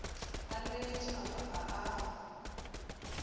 a lebeletše mafapha a a